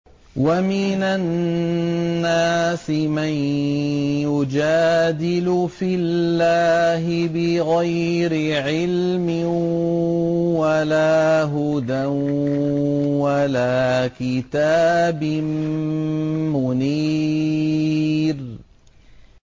وَمِنَ النَّاسِ مَن يُجَادِلُ فِي اللَّهِ بِغَيْرِ عِلْمٍ وَلَا هُدًى وَلَا كِتَابٍ مُّنِيرٍ